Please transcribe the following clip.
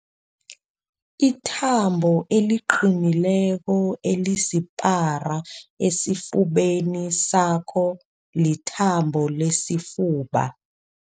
Ithambo eliqinileko elisipara esifubeni sakho lithambo lesifuba.